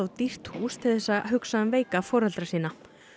dýrt hús til þess að hugsa um veika foreldra sína